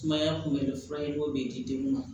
Sumaya kunbɛ furaw bɛ d'i den ma